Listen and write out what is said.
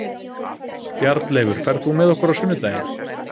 Bjarnleifur, ferð þú með okkur á sunnudaginn?